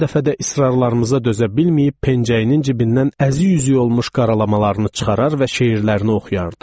Hər dəfə də israrlarımıza dözə bilməyib pençəyinin cibindən əzi üzük olmuş qaralamalarını çıxarar və şeirlərini oxuyardı.